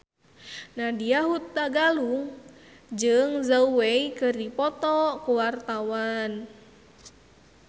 Nadya Hutagalung jeung Zhao Wei keur dipoto ku wartawan